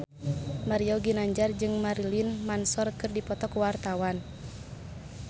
Mario Ginanjar jeung Marilyn Manson keur dipoto ku wartawan